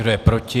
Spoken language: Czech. Kdo je proti?